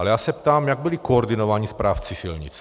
Ale já se ptám - jak byli koordinováni správci silnic?